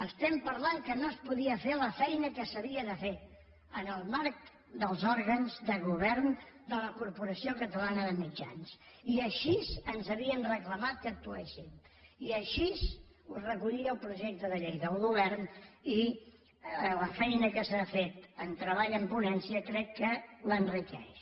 estem parlant que no es podia fer la feina que s’havia de fer en el marc dels òrgans de govern de la corporació catalana de mitjans i així ens havien reclamat que actuéssim i així ho recollia el projecte de llei del govern i la feina que s’ha fet en treball en ponència crec que l’enriqueix